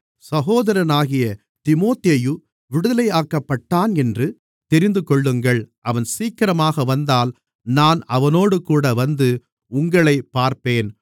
சகோதரனாகிய தீமோத்தேயு விடுதலையாக்கப்பட்டான் என்று தெரிந்துகொள்ளுங்கள் அவன் சீக்கிரமாக வந்தால் நான் அவனோடுகூட வந்து உங்களைப் பார்ப்பேன்